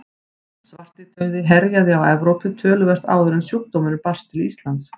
Svartidauði herjaði á Evrópu töluvert áður en sjúkdómurinn barst til Íslands.